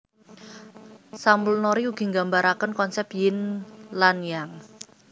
Samulnori ugi nggambaraken konsep Ying lan Yang